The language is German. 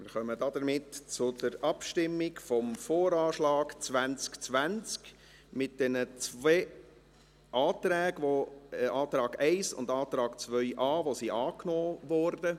Wir kommen damit zur Abstimmung über den VA 2020 mit den zwei angenommenen Anträgen, dem Antrag 1 und dem Antrag 2.a.